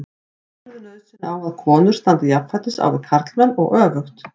Telurðu nauðsyn á að konur standi jafnfætis á við karlmenn og öfugt?